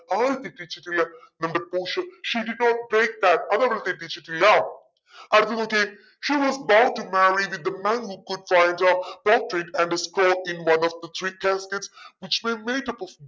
തെറ്റിച്ചില്ലെ നമ്മുടെ പോഷിയ she did not break that അതവൾ തെറ്റിച്ചിട്ടില്ല അതുനോക്കിയേ she was going to marry the man who could in one of the three cascades which may make up of